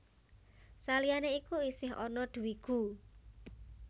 Saliyané iku isih ana Dvigu